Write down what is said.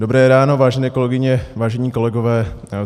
Dobré ráno, vážené kolegyně, vážení kolegové.